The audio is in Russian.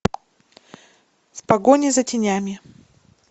в погоне за тенями